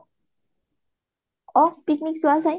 অ, picnic যোৱা যায়